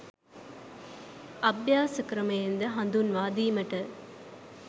අභ්‍යාස ක්‍රමයන් ද හඳුන්වා දීමට